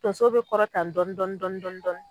Tonso be kɔrɔtan dɔɔni- dɔɔni.